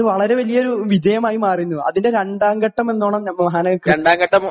അത് വളരെ വിജയമായിരുന്നു . അതിന്റെ രണ്ടാംഘട്ടം എന്നോണം